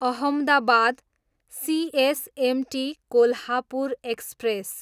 Ahmedabad, CSMT Kolhapur express